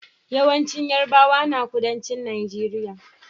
Yawancin yarabawa na kudancin nageria